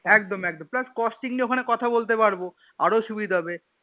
একদম একদম plus costing নিয়ে ওখানে কথা বলতে পারবো আরো সুবিধা হবে।